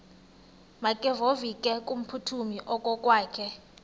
makevovike kumphuthumi okokwakhe